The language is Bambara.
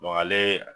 ale